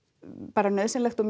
bara nauðsynlegt og